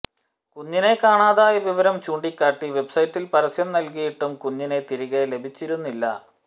കുഞ്ഞിനെ കാണാതായ വിവരം ചൂണ്ടിക്കാട്ടി വെബ്സൈറ്റിൽ പരസ്യം നൽകിയിട്ടും കുഞ്ഞിനെ തിരികെ ലഭിച്ചിരുന്നില്ല